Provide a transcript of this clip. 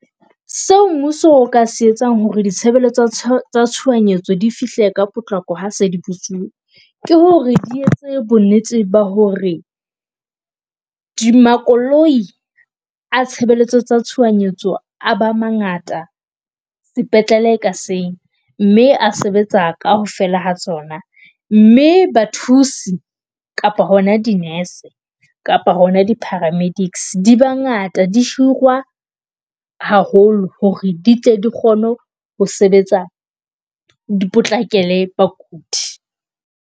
Seo mmuso o ka se etsang hore ditshebeletso tsa tshohanyetso di fihle ka potlako ha se di bitsuwe, ke hore di etse bo nnete ba hore di makoloi a tshebeletso tsa tshohanyetso a ba mangata sepetlele ka seng, mme a sebetsa kaofela ha tsona mme ba thusi kapa hona dinese kapa hona di-paramedics di bangata di hirwa haholo hore di tle di kgone ho ho sebetsa di potlakele bakudi.